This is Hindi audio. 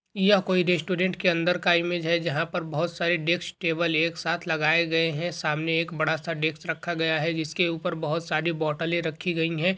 यह एक रेस्टुरेंट के अंदर का इमेज है जहाँ पर बहुत सारे डेस्क टेबल एक साथ लगाये गये हैं सामने एक बड़ा सा डेस्क रखा गया है जिसके उपर बहुत सारी बौटले रखी गई है।